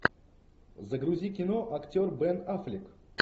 загрузи кино актер бен аффлек